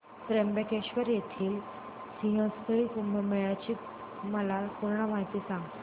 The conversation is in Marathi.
त्र्यंबकेश्वर येथील सिंहस्थ कुंभमेळा ची मला पूर्ण माहिती सांग